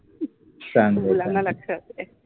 चांगल आहे, मुलाना लक्ष असु द्या